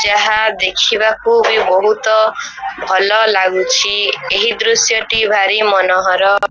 ଯାହା ଦେଖିବାକୁ ବି ବହୁତ ଭଲ ଲାଗୁଚି । ଏହି ଦୃଶ୍ୟ ଟି ଭାରି ମନୋହର।